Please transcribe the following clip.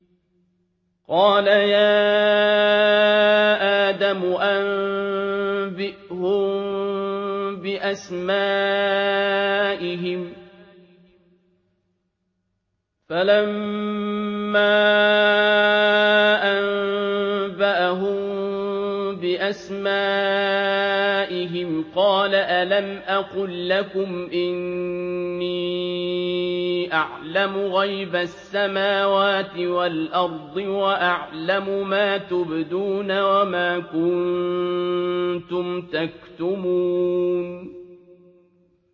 قَالَ يَا آدَمُ أَنبِئْهُم بِأَسْمَائِهِمْ ۖ فَلَمَّا أَنبَأَهُم بِأَسْمَائِهِمْ قَالَ أَلَمْ أَقُل لَّكُمْ إِنِّي أَعْلَمُ غَيْبَ السَّمَاوَاتِ وَالْأَرْضِ وَأَعْلَمُ مَا تُبْدُونَ وَمَا كُنتُمْ تَكْتُمُونَ